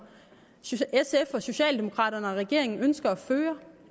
sf og socialdemokraterne og regeringen ønsker at føre